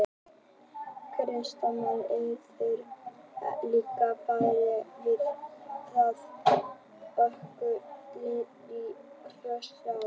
Kristján: Menn urðu líka varir við það, aukið rennsli í Krossá?